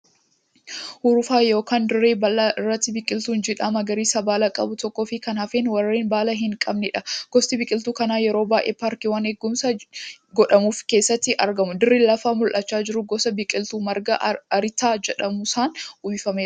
Urufa yookan dirree bal'aa irratti biqiltuun jiidhaa magariisa baala qabu tokkoo fi kan hafan warreen baala hin qabneedha. Gosti biqiltuu kanaa yeroo baay'ee paarkiiwwaan eegumsi godhamuuf keessatti argamu. Dirri lafaa mul'achaa jiru gosa biqiltuu margaa arrittaa jedhsmuun uwwifameera.